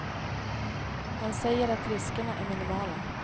Han säger att riskerna är minimala.